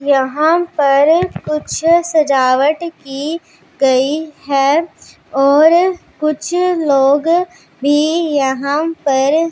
यहां पर कुछ सजावट की गई है और कुछ लोग भी यहां पर--